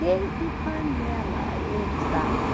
Desde panela eles davam.